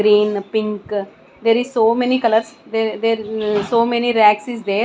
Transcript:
green pink there is so many colours there there uh so many racks is there.